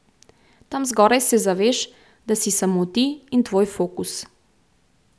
Tam zgoraj se zaveš, da si samo ti in tvoj fokus.